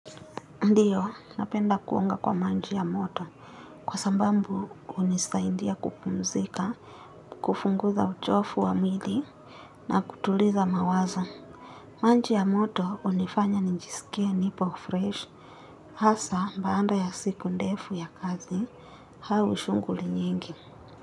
Ndiyo, napenda kuonga kwa manji ya moto kwa sambambu unisaindia kupumzika, kufunguza uchofu wa mwili na kutuliza mawazo. Manji ya moto unifanya njisikie nipo fresh hasa mbaanda ya siku ndefu ya kazi hau shunguli nyingi.